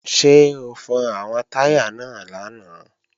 Ṣé o fọn àwọn táyà náà lánàá?